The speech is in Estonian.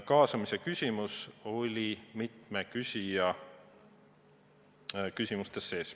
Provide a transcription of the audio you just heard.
Kaasamise küsimus huvitas mitut küsijat.